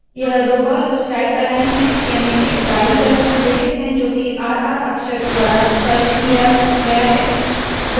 यह दो columns right aligned है याने के दाईं तरफ संरेखित है जो की r r अक्षर द्वारा स्पष्ट किया गया है